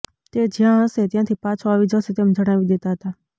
તે જ્યાં હશે ત્યાંથી પાછો આવી જશે તેમ જણાવી દેતા હતા